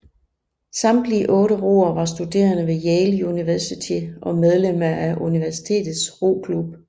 Samtlige otte roere var studerende ved Yale University og medlemmer af universitetets roklub